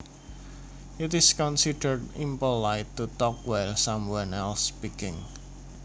It is considered impolite to talk while someone else speaking